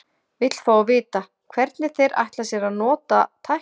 Vill fá að vita, hvernig þeir ætla sér að nota tæknina.